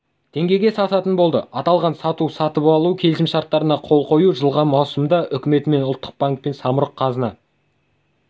теңгеге сататын болды аталған сату-сатып алу келісімшарттарына қол қою жылғы маусымда үкіметімен ұлттық банкпен самұрық-қазына